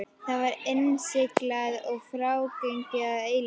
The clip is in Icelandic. Það var innsiglað og frágengið að eilífu.